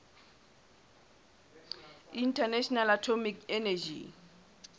international atomic energy